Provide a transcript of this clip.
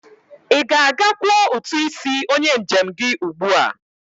I ga-aga kwọ utu isi onye njem gi ugbua!